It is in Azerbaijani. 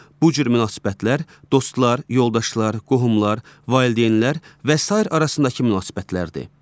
Bu cür münasibətlər dostlar, yoldaşlar, qohumlar, valideynlər və sair arasındakı münasibətlərdir.